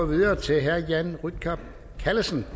videre til herre jan rytkjær callesen